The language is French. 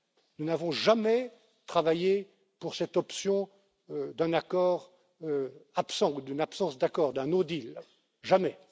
Nous n'avons jamais travaillé pour cette option d'un accord absent ou d'une absence d'accord, d'un no deal jamais.